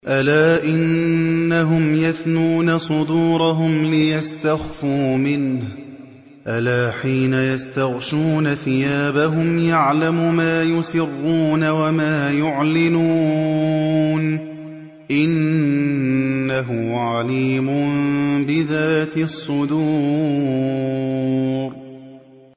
أَلَا إِنَّهُمْ يَثْنُونَ صُدُورَهُمْ لِيَسْتَخْفُوا مِنْهُ ۚ أَلَا حِينَ يَسْتَغْشُونَ ثِيَابَهُمْ يَعْلَمُ مَا يُسِرُّونَ وَمَا يُعْلِنُونَ ۚ إِنَّهُ عَلِيمٌ بِذَاتِ الصُّدُورِ